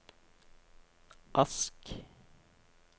Ask